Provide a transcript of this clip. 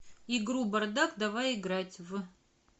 игру бардак давай играть в